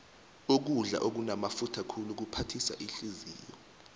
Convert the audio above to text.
ukudla okunamafutha khulu kuphathisa ihliziyo